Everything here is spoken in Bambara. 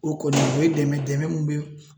O kɔni, o ye dɛmɛ ye, dɛmɛ min